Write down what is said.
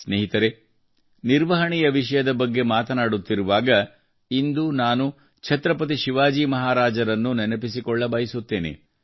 ಸ್ನೇಹಿತರೇ ನಿರ್ವಹಣೆಯ ವಿಷಯದ ಬಗ್ಗೆ ಮಾತನಾಡುತ್ತಿರುವಾಗ ಇಂದು ನಾನು ಛತ್ರಪತಿ ಶಿವಾಜಿ ಮಹಾರಾಜರನ್ನು ನೆನಪಿಸಿಕೊಳ್ಳಬಯಸುತ್ತೇನೆ